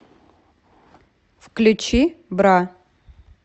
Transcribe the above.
включи бра